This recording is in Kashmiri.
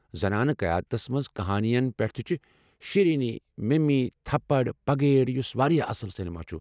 زنانہٕ قیادتس منز كہانِین پٮ۪ٹھ تہِ چھِ شیرنی، مِمی، تھپڑ، پگلیٹ یُس واریاہ اصٕل سیٚنما چُھ۔